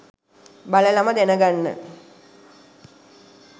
බලලම දැනගන්න